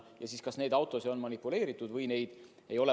Tehakse kindlaks, kas nende autodega on manipuleeritud või mitte.